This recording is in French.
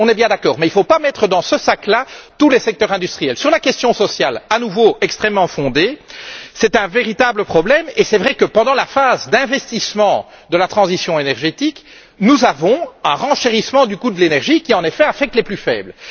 Nous sommes d'accord. Mais il ne faut pas mettre dans le même sac tous les secteurs industriels. Quant à la question sociale, elle est à nouveau extrêmement fondée. C'est un véritable problème et il est vrai que, pendant la phase d'investissement de la transition énergétique, nous avons un renchérissement du coût de l'énergie qui, en effet, affecte les plus faibles.